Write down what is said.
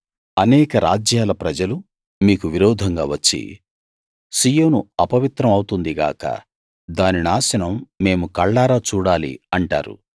అనేక రాజ్యాల ప్రజలు మీకు విరోధంగా వచ్చి సీయోను అపవిత్రం అవుతుంది గాక దాని నాశనం మేము కళ్ళారా చూడాలి అంటారు